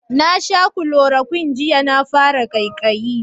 Na sha kulorokwin jiya na fara kaikayi